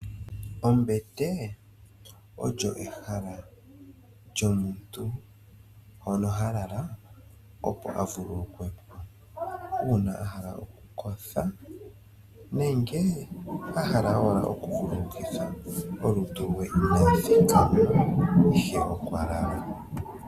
Ombete oyo ehala lyomuntu kehe hono halala opo avululukwe po, uuna ahala athuwepo nenge ahala a vululukithe omadhiladhilo ge ihe okwalala.